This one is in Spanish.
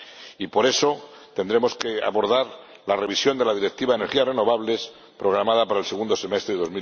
Y, por eso, tendremos que abordar la revisión de la Directiva de energías renovables programada para el segundo semestre de